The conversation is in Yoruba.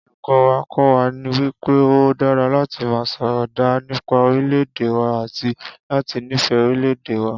Olùkó̩ wa kó̩ wa wí pé ó dára láti máa sò̩rò̩ dáa nípa orílè̩-èdè wa àti láti nífè̩é̩ orílè̩-èdè wa